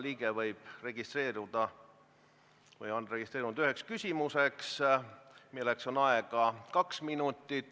Riigikogu liikmed on registreerunud ühe küsimuse esitamiseks, milleks on aega kaks minutit.